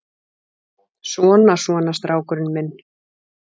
Svona, svona, strákurinn minn.